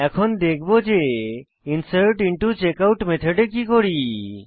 এখন দেখব যে ইনসার্টিন্টোচেকআউট মেথডে কি করি